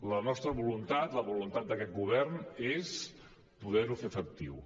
la nostra voluntat la voluntat d’aquest govern és poder ho fer efectiu